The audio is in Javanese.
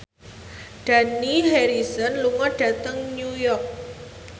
Dani Harrison lunga dhateng New York